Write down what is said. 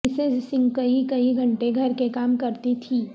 Mrs Singh کئی کئی گھنٹے گھر کے کام کرتی تھیں